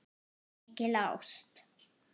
Mikil ást.